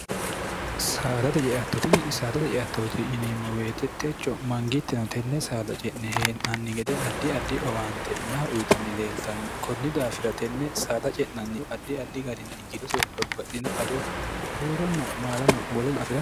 saadate jeattotini saadate ceattooti yiniimmo weetettecho mangiittino tenne saada ce'ne hee'nanni gede addi addi owaante naha uyitanni leeltanno kunni daafira tenne saada ce'nannihu addi addi garinni gidose babbaxino ado buuronna maalano woleono afir